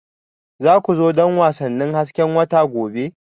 Za ku zo don wasannin hasken wata gobe?